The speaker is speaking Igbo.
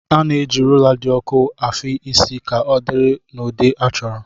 A na-eji rólá dị ọku afị isi ka ọdịrị n'ụdị achọrọ